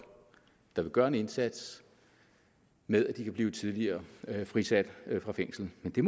der vil gøre en indsats med at de kan blive tidligere frisat fra fængsel men det